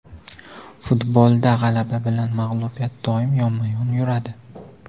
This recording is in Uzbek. Futbolda g‘alaba bilan mag‘lubiyat doim yonma-yon yuradi.